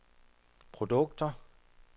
produkter